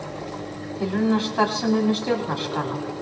Tilraunastarfsemi með stjórnarskrána